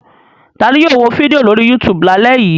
Ta ni yóò wo fídíò lórí YouTube lálẹ́ yìí?